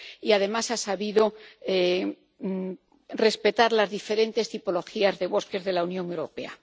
Y, además, ha sabido respetar las diferentes tipologías de bosques de la Unión Europea.